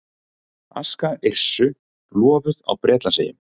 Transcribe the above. Aska Yrsu lofuð á Bretlandseyjum